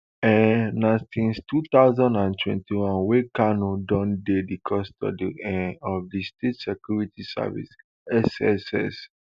um na since two thousand and twenty-one wey kanu don dey di custody um of di state security service sss